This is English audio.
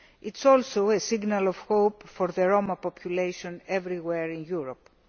It is also a signal of hope for the Roma population everywhere in Europe.